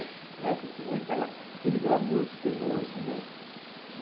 Né? Não é que tinha aquela aquele glamour que tem hoje, né?